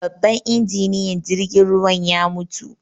Babban injiniyan jirgin ruwan ya mutu